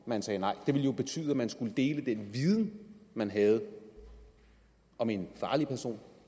man sagde nej det ville jo betyde at man skulle dele den viden man havde om en farlig person